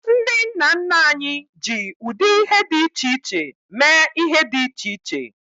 Ndị nna nna anyị ji ụdị ihe dị iche iche mee ihe dị iche iche.